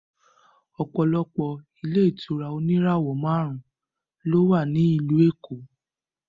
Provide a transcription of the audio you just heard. Ọ̀pọ̀lọpọ̀ ilé ìtura oníràwọ̀ márùn-ún ló wà ní ìlú Èkó